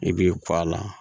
I b'i kɔ a la